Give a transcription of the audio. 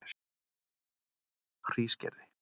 Hrísgerði